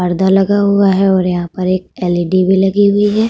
पर्दा लगा हुआ है और यहां पर एक एलइडी भी लगी हुई है।